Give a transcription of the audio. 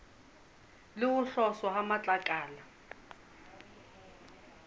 le ho tloswa ha matlakala